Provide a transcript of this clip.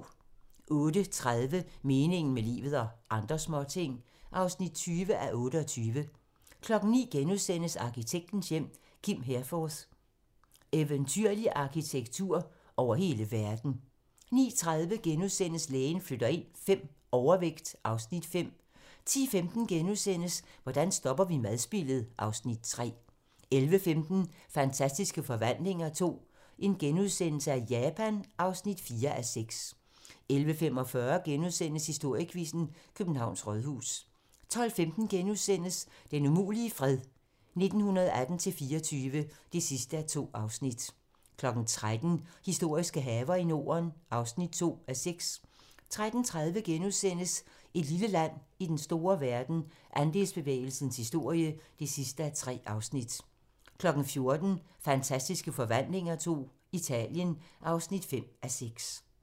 08:30: Meningen med livet – og andre småting (20:28) 09:00: Arkitektens Hjem: Kim Herforth - "Eventyrlig arkitektur over hele verden". 09:30: Lægen flytter ind V - Overvægt (Afs. 5)* 10:15: Hvordan stopper vi madspildet? (Afs. 3)* 11:15: Fantastiske Forvandlinger II - Japan (4:6)* 11:45: Historiequizzen: Københavns Rådhus * 12:15: Den umulige fred - 1918-24 (2:2)* 13:00: Historiske haver i Norden (2:6) 13:30: Et lille land i den store verden - Andelsbevægelsens historie (3:3)* 14:00: Fantastiske Forvandlinger II - Italien (5:6)